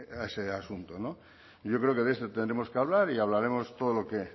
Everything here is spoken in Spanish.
a ese asunto no yo creo que de esto tendremos que hablar y hablaremos todo